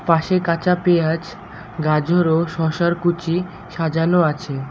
পাশে কাঁচা পেঁয়াজ গাজর ও শশার কুচি সাজানো আছে।